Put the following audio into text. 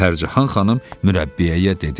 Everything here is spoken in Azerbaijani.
Pərcahan xanım mürəbbiyəyə dedi: